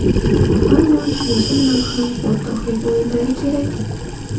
Ammo shunisi bilan ham o‘rtoqlik o‘yinlari kerak.